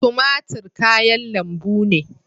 Tumatur kayan lambu ne.